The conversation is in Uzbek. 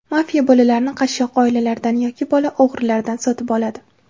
Mafiya bolalarni qashshoq oilalardan yoki bola o‘g‘rilaridan sotib oladi.